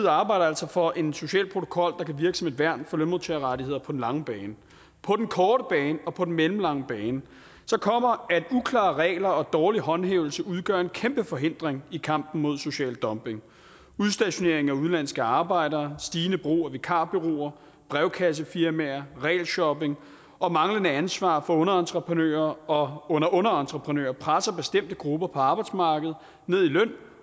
arbejder altså for en social protokol der kan virke som et værn for lønmodtagerrettigheder på den lange bane på den korte bane og på den mellemlange bane kommer at uklare regler og dårlig håndhævelse udgør en kæmpe forhindring i kampen mod social dumping udstationeringen af udenlandske arbejdere stigende brug af vikarbureauer brevkassefirmaer regelshopping og manglende ansvar for underentreprenører og underunderentreprenører presser bestemte grupper på arbejdsmarkedet ned i løn